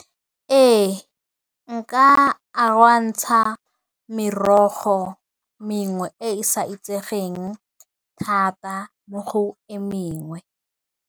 Ee, nka merogo mengwe e e sa itsegeng thata mo go e mengwe.